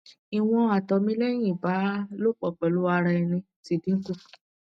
iwon ato mi lehin iba lopo pelu ara eni ti dinku